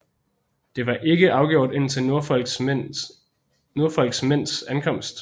Det var ikke afgjort indtil Norfolks mænds ankomst